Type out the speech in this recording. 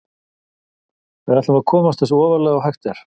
Við ætlum að komast eins ofarlega og hægt er.